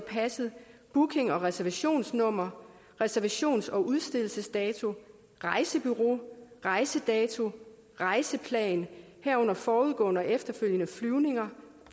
booking og reservationsnummer reservations og udstedelsesdato rejsebureau rejsedato rejseplan herunder forudgående og efterfølgende flyvninger